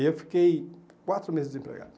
E eu fiquei quatro meses desempregado.